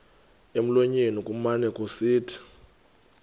emlonyeni kumane kusithi